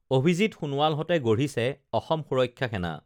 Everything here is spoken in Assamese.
অভিজিৎ সোণোৱালহঁতে গঢ়িছে অসম সুৰক্ষা সেনা